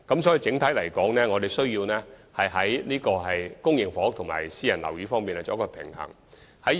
所以，整體而言，我們必須在公營房屋及私人樓宇兩方面作出平衡。